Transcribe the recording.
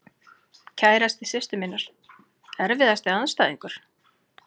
Kærasti systur minnar Erfiðasti andstæðingur?